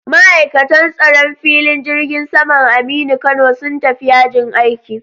Ma'aikatan tsaron filin jirgin saman Aminu Kano sun tafi yajin aiki